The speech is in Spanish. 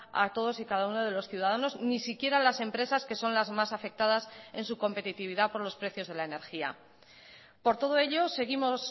a todos y cada uno de los ciudadanos ni siquiera a las empresas que son las más afectadas en su competitividad por los precios de la energía por todo ello seguimos